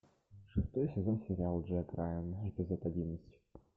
шестой сезон сериал джек райан эпизод одиннадцать